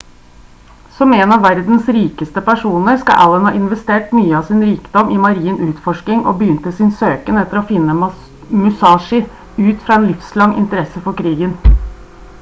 som en av verdens rikeste personer skal allen ha investert mye av sin rikdom i marin utforskning og begynte sin søken etter å finne musashi ut i fra en livslang interesse for krigen